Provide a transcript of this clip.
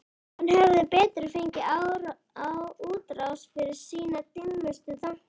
Hann hefði betur fengið útrás fyrir sína dimmustu þanka.